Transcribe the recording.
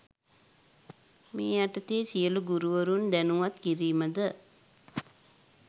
මේ යටතේ සියලු ගුරුවරුන් දැනුවත් කිරීමද